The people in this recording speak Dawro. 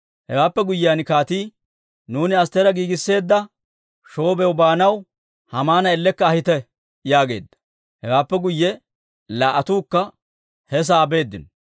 Hewaappe guyyiyaan kaatii, «Nuuni Astteera giigisseedda shoobiyaw baanaw, Haamana ellekka ahite!» yaageedda. Hewaappe guyye laa"attuukka he sa'aa beeddino.